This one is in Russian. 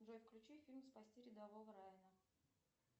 джой включи фильм спасти рядового райена